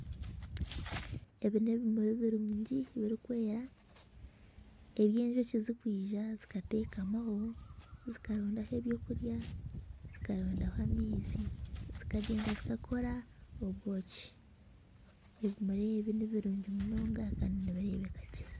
Ebi n'ebimuri birungi birikwera ebi Enjoki ziri kwija zikatekamaho zikarondaho ebyokurya, zikarondaho amaizi zikagyenda zi kakora obwoki. Ebimuri ebi nibirungi munonga Kandi nibirebeka gye.